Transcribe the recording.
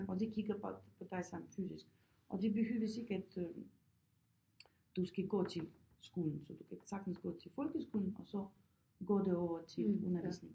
Og de kigger bare på dig samtidigt og det behøves ikke at du skal gå til skolen så du kan sagtens gå til folkeskolen og så går det over til undervisning